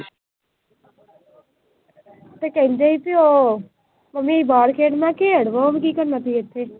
ਤੇ ਕਹਿੰਦੇ ਈ ਸੀ ਉਹ ਮੰਮੀ ਬਾਹਰ ਖੇਡਣਾ, ਕੀ ਕਰਨਾ ਸੀ ਇੱਥੇ।